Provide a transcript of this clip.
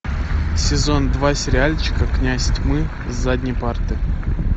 сезон два сериальчика князь тьмы с задней парты